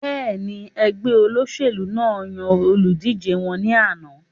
Bẹ́ẹ̀ni, ẹgbẹ́ olóṣèlú náà yan olùdíjé wọn ní àná